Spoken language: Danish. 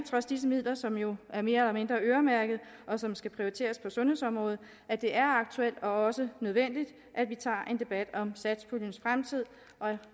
trods disse midler som jo er mere eller mindre øremærkede og som skal prioriteres på sundhedsområdet at det er aktuelt og også nødvendigt at vi tager en debat om satspuljens fremtid